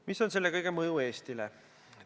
Mis on selle kõige mõju Eestile?